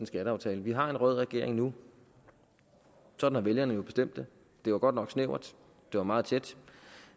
skatteaftale vi har en rød regering nu sådan har vælgerne jo bestemt det det var godt nok snævert det var meget tæt